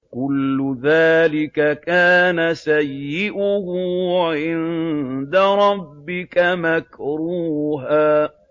كُلُّ ذَٰلِكَ كَانَ سَيِّئُهُ عِندَ رَبِّكَ مَكْرُوهًا